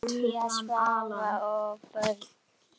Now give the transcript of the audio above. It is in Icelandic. Sonja, Svavar og börn.